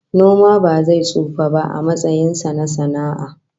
Noma ba zai tsufa ba a matsayin sa na sana'a